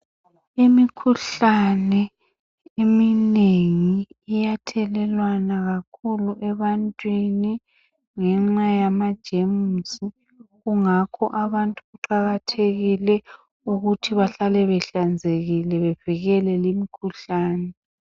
Imikhuhlane eminengi iyathelelwana kakhulu ebantwini ngenxa yama gemusi kungakho abantu kuqakathekile ukuthi bahlale behlanzekile bavikele imikhuhlane .